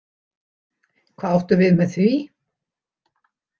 Hvað áttu við með því?